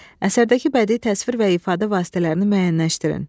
Əsərdəki bədii təsvir və ifadə vasitələrini müəyyənləşdirin.